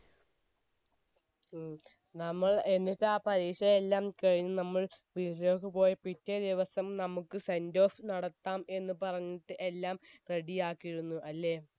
ഉം നമ്മൾ എന്നിട്ട് ആ പരീക്ഷ എല്ലാം കഴിഞ് നമ്മൾ വീട്ടിലേക്ക് പോയി പിറ്റേ ദിവസം നമ്മക്ക് sendoff നടത്താം എന്ന് പറഞ്ഞിട്ട് നമ്മ എല്ലാം ready ആക്കിയിരുന്നു അല്ലെ